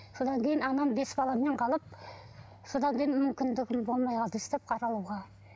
содан кейін анам бес баламен қалып содан кейін мүмкіндігім болмай қалды өстіп қаралуға